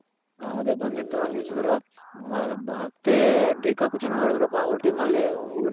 ಅದೆ ಬಂದಿತ್ತು ನಿಲ್ಸದ್ರು. ಮತ್ತೆ ಡೆಕಾಕು ಚೆನಾಗ್ ಆಡಿದ್ರಪ್ಪ ಅವ್ರ್ team ಅಲ್ಲಿ ನಮ್ದೆನಾದ್ರು score